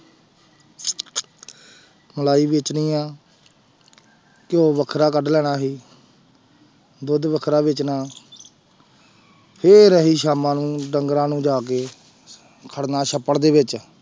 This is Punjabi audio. ਮਲਾਈ ਵੇਚਣੀ ਆਂ ਘਿਉ ਵੱਖਰਾ ਕੱਢ ਲੈਣਾ ਅਸੀਂ ਦੁੱਧ ਵੱਖਰਾ ਵੇਚਣਾ ਫਿਰ ਅਸੀਂ ਸਾਮਾਂ ਨੂੰ ਡੰਗਰਾਂ ਨੂੰ ਜਾ ਕੇ ਖੜਨਾ ਸੱਪੜ ਦੇ ਵਿੱਚ